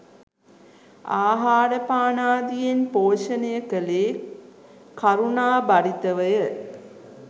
ආහාරපානාදියෙන් පෝෂණය කළේ කරුණාභරිතවය.